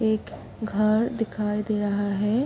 एक घर दिखाई दे रहा है।